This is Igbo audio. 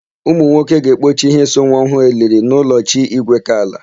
Ụmụnwoke ga-ekpochi íhé so nwa ọhụụ eliri n'ụlọ chi Igwekala.